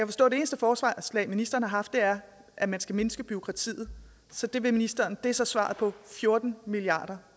forstå at det eneste forslag ministeren har haft er at man skal mindske bureaukratiet så det vil ministeren det er så svaret på fjorten milliard